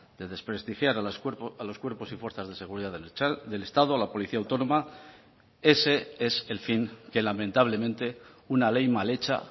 de desprestigiar a los cuerpos y fuerzas de seguridad del estado a la policía autónoma ese es el fin que lamentablemente una ley mal hecha